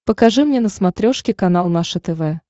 покажи мне на смотрешке канал наше тв